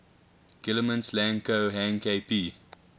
guillemets lang ko hang kp